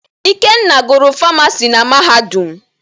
Ikenna gụrụ Famasi na Mahadum.